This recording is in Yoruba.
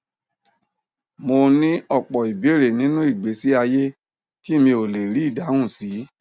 mo ní ọpọ ìbéèrè nínú ìgbésí ayé tí mi ò lè rí ìdáhùn sí